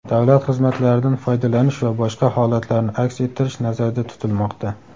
davlat xizmatlaridan foydalanish va boshqa holatlarni aks ettirish nazarda tutilmoqda.